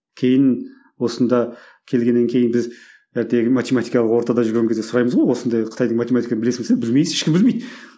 кейін осында келгеннен кейін біз математикалық ортада жүрген кезде сұраймыз ғой осындай қытайдың математигін білесің бе десе білмейді ешкім білмейді